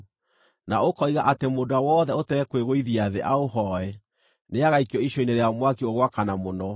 na ũkoiga atĩ mũndũ ũrĩa wothe ũtekwĩgũithia thĩ aũhooe, nĩagaikio icua-inĩ rĩa mwaki ũgwakana mũno.